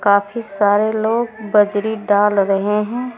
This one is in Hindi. काफी सारे लोग बजरी डाल रहे हैं।